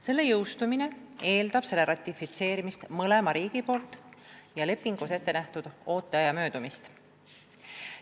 Selle jõustumine eeldab lepingu ratifitseerimist mõlema riigi poolt ja lepingus ette nähtud ooteaja möödumist.